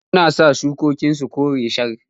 Damuna ta sa shukokin sun yi kore shar.